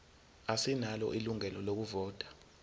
asinalo ilungelo lokuvota